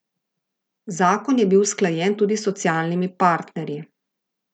Zakon je bil usklajen tudi s socialnimi partnerji.